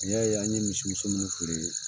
N'i y'a ye an ye misimuso ninnu feere.